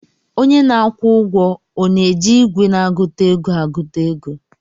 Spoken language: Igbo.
Onye na-akwụ ụgwọ ọ na-eji igwe na-agụta ego agụta ego